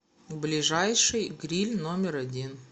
ближайший гриль номер один